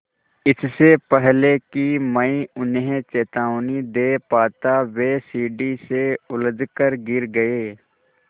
इससे पहले कि मैं उन्हें चेतावनी दे पाता वे सीढ़ी से उलझकर गिर गए